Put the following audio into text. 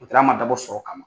Dɔtɔrɔya man dabɔ sɔrɔ kama.